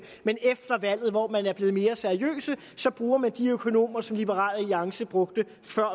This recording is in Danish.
men efter valget hvor man er blevet mere seriøs bruger man de økonomer som liberal alliance brugte før